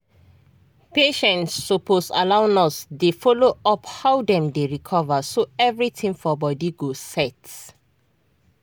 patients suppose allow nurse dey follow up how dem dey recover so everything for body go set.